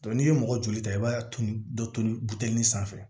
n'i ye mɔgɔ joli ta i b'a turu dɔ turuli sanfɛ